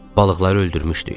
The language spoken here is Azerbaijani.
Balıqları öldürmüşdük.